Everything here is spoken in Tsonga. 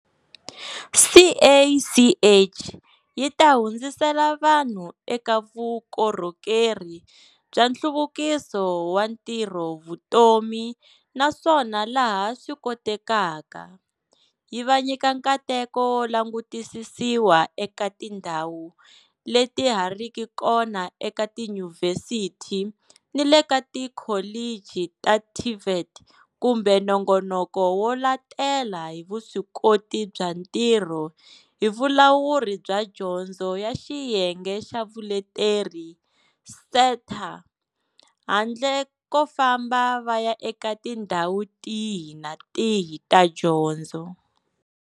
CACH yi ta hundzisela vanhu eka vukorhokeri bya nhluvukiso wa ntirhovutomi naswona laha swi kotekaka, yi va nyika nkateko wo langutisisiwa eka tindhawu leti ha riki kona eka tiyunivhesiti ni le ka tikholichi ta TVET kumbe nongonoko wo latela hi vuswikoti bya ntirho hi Vulawuri bya Dyondzo ya Xiyenge xa Vuleteri, SETA, handle ko famba va ya eka tindhawu tihi na tihi ta dyondzo.